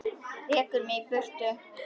Rekur mig í burtu?